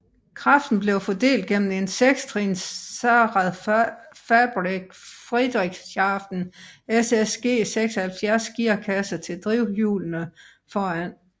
Kraften blev fordelt gennem en 6 trins Zahnradfabrik Friedrichshafen SSG 76 gearkasse til drivhjulene foran